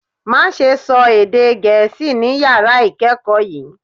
Má ṣe sọ èdè gẹ̀ẹ́sì ni yàrá ìkẹ́kọ̀ọ́ yìí